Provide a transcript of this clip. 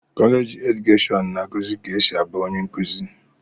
kọleji edukeshọn na-akụzi ka esi abụ onye nkuzi.